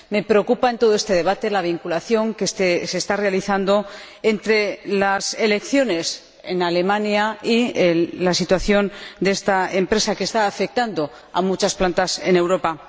Me preocupa, en todo este debate, la vinculación que se está realizando entre las elecciones en Alemania y la situación de esta empresa, que está afectando a muchas plantas en Europa.